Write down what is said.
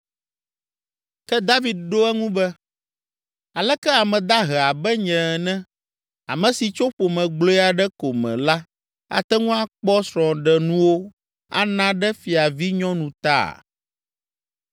Ke David ɖo eŋu be, “Aleke ame dahe abe nye ene, ame si tso ƒome gblɔe aɖe ko me la ate ŋu akpɔ srɔ̃ɖenuwo ana ɖe fiavinyɔnu ta?”